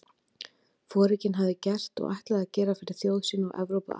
Foringinn hafði gert og ætlaði að gera fyrir þjóð sína og Evrópu alla?